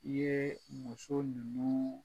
I ye muso ninnu